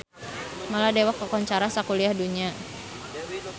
Maladewa kakoncara sakuliah dunya